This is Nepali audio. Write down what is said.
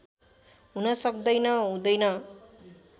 हुन सक्दैन हुँदैन